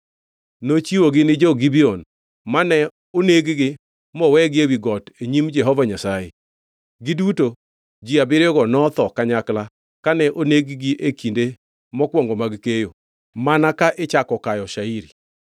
Nochiwogi ni jo-Gibeon mano onegogi moweyogi ewi got nyim Jehova Nyasaye. Giduto ji abiriyogo notho kanyakla kane oneg-gi e kinde mokwongʼo mag keyo, mana ka ichako kayo shairi.